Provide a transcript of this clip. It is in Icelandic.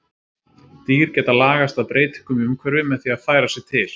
Dýr geta lagast að breytingum í umhverfi með því að færa sig til.